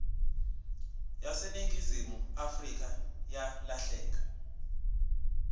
yaseningizimu afrika yalahleka